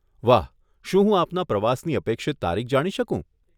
વાહ. શું હું આપના પ્રવાસની અપેક્ષિત તારીખ જાણી શકું?